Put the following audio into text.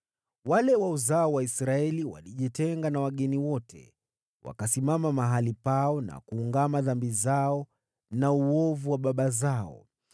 Wale wa uzao wa Israeli walijitenga na wageni wote. Wakasimama mahali pao, na kuungama dhambi zao na uovu wa baba zao.